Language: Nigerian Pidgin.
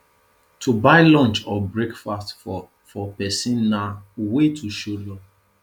to buy lunch or breakfast for for persin na wey to show love